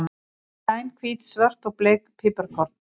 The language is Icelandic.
Græn, hvít, svört og bleik piparkorn.